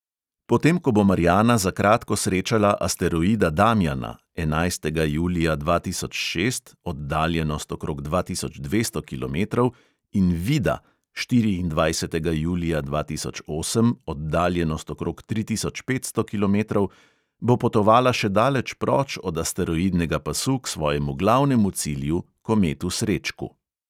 Potem ko bo marjana za kratko srečala asteroida damjana (enajstega julija dva tisoč šest; oddaljenost okrog dva tisoč dvesto kilometrov) in vida (štiriindvajsetega julija dva tisoč osem; oddaljenost okrog tri tisoč petsto kilometrov), bo potovala še daleč proč od asteroidnega pasu k svojemu glavnem cilju, kometu srečku.